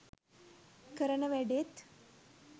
කරන වැඩෙත්.